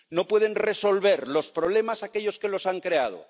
No pueden resolver los problemas aquellos que los han creado